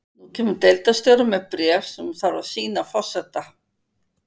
Nú kemur deildarstjóri með bréf sem hún þarf að sýna forseta.